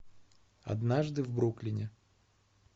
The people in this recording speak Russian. однажды в бруклине